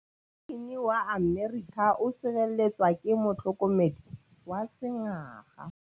Poresitêntê wa Amerika o sireletswa ke motlhokomedi wa sengaga.